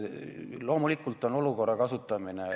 Loomulikult on olukorra ärakasutamine ...